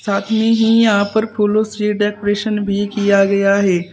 साथ में ही यहां पर फूलों से डेकोरेशन भी किया हुआ है।